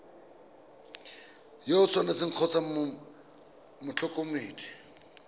yo o tshwanetseng kgotsa motlhokomedi